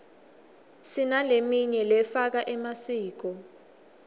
sinaleminy lefaka emasiko